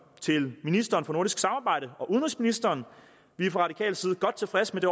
til ministeren for nordisk samarbejde og til udenrigsministeren vi er fra radikal side godt tilfredse med